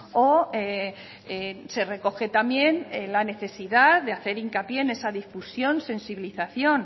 o se recoge también la necesidad de hacer hincapié en esa difusión sensibilización